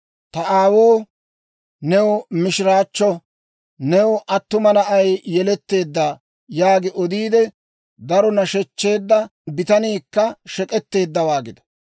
Ta aawoo, «New mishiraachcho; new attuma na'ay yeletteedda!» yaagi odiide, daro nashechcheedda bitaniikka shek'k'etteeddawaa gido!